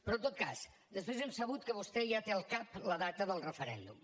però en tot cas després hem sabut que vostè ja té al cap la data del referèndum